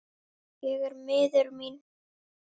Ég er miður mín.